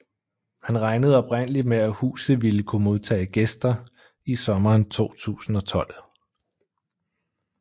Han regnede oprindeligt med at huset ville kunne modtage gæster i sommeren 2012